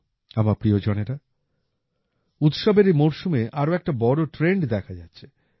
আমার প্রিয়জনেরা উৎসবের এই মরসুমে আরো একটি বড় ট্রেন্ড দেখা যাচ্ছে